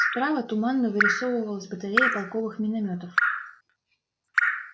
справа туманно вырисовывалась батарея полковых миномётов